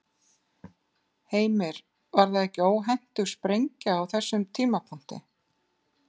Heimir: Var það ekki óhentug sprengja á þessum tímapunkti?